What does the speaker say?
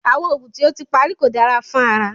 Awọn oogun ti o ti pari ko dara fun ara